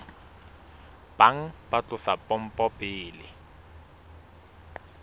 bang ba tlosa pompo pele